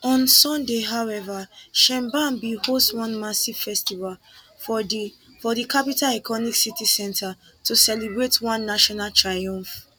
on sunday however sheinbaum bin host one massive festival for di for di capital iconic city centre to celebrate one national triumph